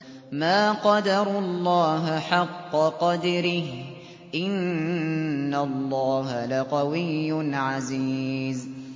مَا قَدَرُوا اللَّهَ حَقَّ قَدْرِهِ ۗ إِنَّ اللَّهَ لَقَوِيٌّ عَزِيزٌ